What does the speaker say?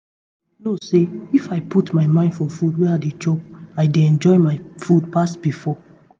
you know say know say if i put mind for food wey i dey chop i dey enjoy my food pass before.